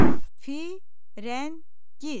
Firəngiz.